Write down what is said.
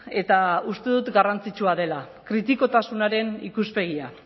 eta uste dut garrantzitsua dela kritikotasunaren ikuspegia